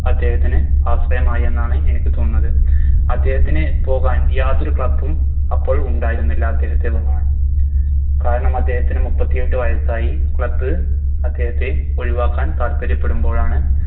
അദ്ദേഹത്തിന് അവസരമായി എന്നാണ് എനിക്ക് തോന്നുന്നത് അദ്ദേഹത്തിന് പോകാൻ യാതൊരു Club ഉം അപ്പോൾ ഉണ്ടായിരുന്നില്ല അദ്ദേഹത്തിന് കാരണം അദ്ദേഹത്തിന് മുപ്പത്തിയെട്ട് വയസ്സായി Club അദ്ദേഹത്തെ ഒഴിവാക്കാൻ താല്പര്യപ്പെടുമ്പോഴാണ്